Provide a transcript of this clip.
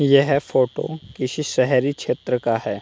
यह फोटो किसी शहरी क्षेत्र का है।